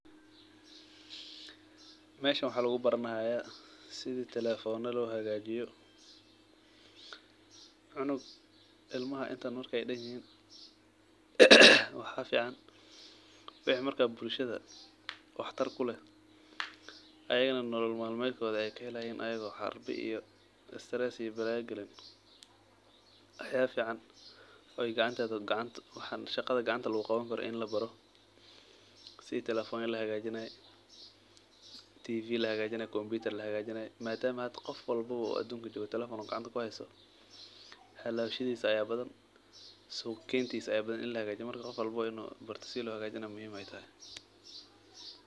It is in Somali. Meeshan waxa lugubaranaya sida telefonada lohagajiyo ilmaha markey intan dan yihin waxa fican in ey wixi marka bulshada waxtar kuleeh ayagana ey nolol malmedkoda kahelayin aya istares iyo waxa fican shaqada gacanta luguqawani karo inii labaro sida telefonka lahagajinayo tifiyada lahagajinayo komnutar lahagajinayo madama hda qof walbo uu telefon uu gacanta kuhesto halawgisa aya badan suq gentisa aya badan inii lahagajiyo marka qof walbo inu barto sida lohagajinayo muhiiim waye.